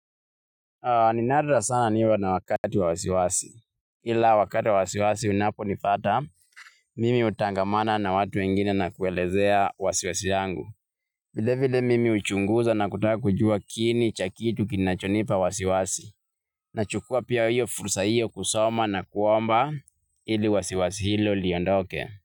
Ni nadra sana niwe na wakati wa wasiwasi, ila wakati wa wasiwasi unapo nipata, mimi hutangamana na watu wengine na kuelezea wasiwasi yangu. Vilevile mimi huchunguza na kutaka kujua kiini cha kitu kinachonipa wasiwasi, nachukua pia hiyo fursa hiyo kusoma na kuomba hili wasiwasi hilo liondoke.